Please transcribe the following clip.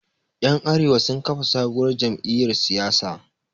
Ƴan awaren sun kafa sabuwar jamiyyar siyasa.